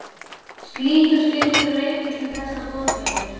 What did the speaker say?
Slíkur skilningur leiddi til þess að boðskapur